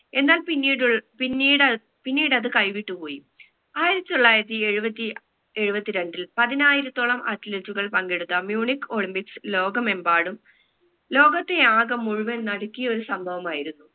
എന്നാൽ പിന്നീടുൾ പിന്നീടൽ പിന്നീടത് കൈവിട്ട് പോയി ആയിരത്തി തൊള്ളായിരത്തി എഴുപത്തി എഴുപത്തി രണ്ടിൽ പതിനായിരത്തോളം athlete കൾ പങ്കെടുത്ത munich olympics ലോകമെമ്പാടും ലോകത്തെ ആകെ മുഴുവൻ നടുക്കിയ ഒരു സംഭവമായിരുന്നു